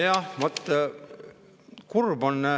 Jah, vot, kurb on.